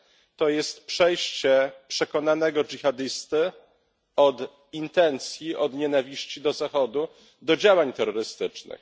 To jest przejście przekonanego dżihadysty od intencji, od nienawiści do Zachodu do działań terrorystycznych.